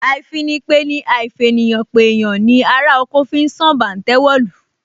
Àìfìpeni àìfèèyànpèèyàn ni ará oko fi sán bàǹtẹ́ wọ̀lú